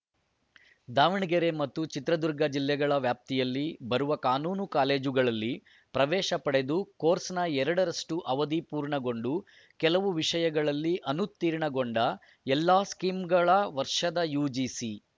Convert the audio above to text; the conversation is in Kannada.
ದಾವಣಗೆರೆ ಮತ್ತು ಚಿತ್ರದುರ್ಗ ಜಿಲ್ಲೆಗಳ ವ್ಯಾಪ್ತಿಯಲ್ಲಿ ಬರುವ ಕಾನೂನು ಕಾಲೇಜುಗಳಲ್ಲಿ ಪ್ರವೇಶ ಪಡೆದು ಕೋರ್ಸ್‌ನ ಎರಡರಷ್ಟುಅವಧಿ ಪೂರ್ಣಗೊಂಡು ಕೆಲವು ವಿಷಯಗಳಲ್ಲಿ ಅನುತೀರ್ಣಗೊಂಡ ಎಲ್ಲ ಸ್ಕೀಂಗಳ ವರ್ಷದ ಯುಜಿಸಿ